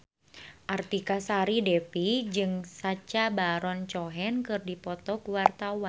Artika Sari Devi jeung Sacha Baron Cohen keur dipoto ku wartawan